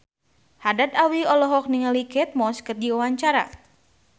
Haddad Alwi olohok ningali Kate Moss keur diwawancara